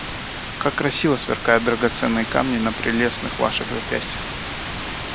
как красиво сверкают драгоценные камни на прелестных ваших запястьях